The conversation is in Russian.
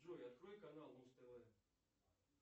джой открой канал муз тв